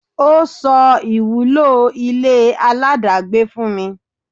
Ọ́ sọ ìwúlò ile aláàdágbé fún mi.